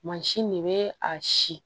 Mansin de bɛ a si